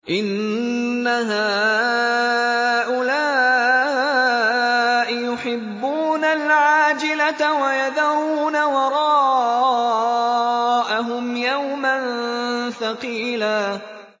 إِنَّ هَٰؤُلَاءِ يُحِبُّونَ الْعَاجِلَةَ وَيَذَرُونَ وَرَاءَهُمْ يَوْمًا ثَقِيلًا